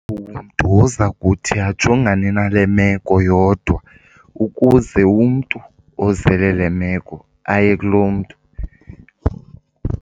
Umntu oza kuthi ajongane nale meko yodwa, ukuze umntu ozele le meko aye kulo mntu.